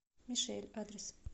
мишель адрес